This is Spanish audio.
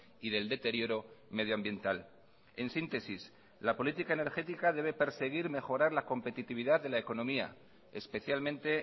y del deterioro medioambiental en síntesis la política energética debe perseguir mejorar la competitividad de la economía especialmente